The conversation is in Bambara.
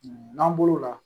N'an bolo la